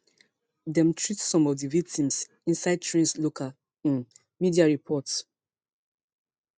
dem treat some of di victims inside trains local um media report